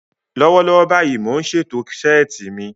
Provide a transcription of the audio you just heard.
Lọ́wọ́lọ́wọ́ báyìí, mò ń ṣètò ṣẹ́ẹ̀tì mi